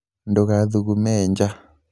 ndũgathugume ja